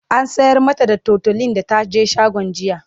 an sayar mata da tutolin da taje shagon jiya